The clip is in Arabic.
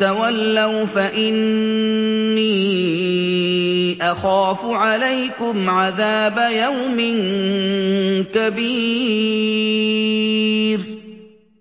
تَوَلَّوْا فَإِنِّي أَخَافُ عَلَيْكُمْ عَذَابَ يَوْمٍ كَبِيرٍ